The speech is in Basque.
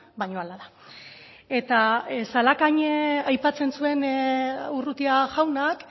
baina hala da eta zalakain aipatzen zuen urrutia jaunak